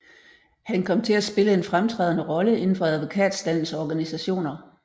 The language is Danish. Han kom til at spille en fremtrædende rolle inden for advokatstandens organisationer